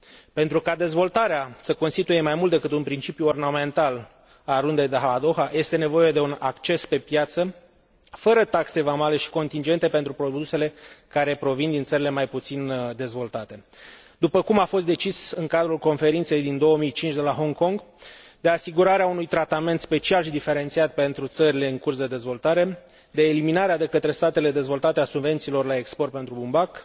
Pentru ca dezvoltarea să constituie mai mult decât un principiu ornamental al Rundei de la Doha, este nevoie de un acces pe piață fără taxe vamale și contingente pentru produsele care provin din țările mai puțin dezvoltate, după cum a fost decis în cadrul conferinței din 2005 de la Hong Kong, de asigurarea unui tratament special și diferențiat pentru țările în curs de dezvoltare, de eliminarea de către statele dezvoltate a subvențiilor la export pentru bumbac,